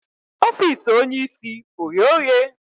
Ofiisi onye isi o ghe oghe?